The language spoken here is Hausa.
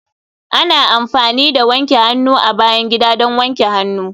Ana amfani da wanke hannu a bayan gida don wanke hannu